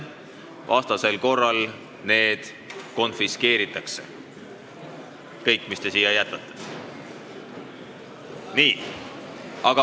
Vastasel korral konfiskeeritakse kõik, mis te siia jätate.